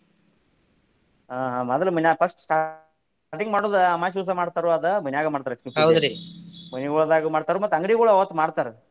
ಹಾ ಮೊದಲ್ ಮನ್ಯಾಗ first starting ಮಾಡೋದ ಅಮಾಸಿ ದಿವ್ಸ ಮಾಡ್ತಾರ ಅದ ಮನ್ಯಾಗ ಮಾಡ್ತಾರ ಲಕ್ಷ್ಮೀ ಪೂಜೆ ಮನಿಗೊಳದಾಗು ಮಾಡ್ತಾರು ಮತ್ತ ಅಂಗಡಿಗೊಳದಾಗು ಅವತ್ತ ಮಾಡ್ತಾರ.